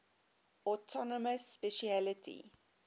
autonomous specialty